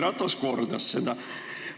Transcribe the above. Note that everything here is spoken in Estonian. Ratas kordas seda.